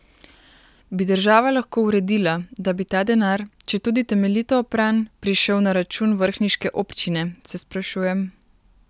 Bi država lahko uredila, da bi ta denar, četudi temeljito opran, prišel na račun vrhniške občine, se sprašujem?